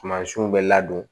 Sumasiw bɛ ladon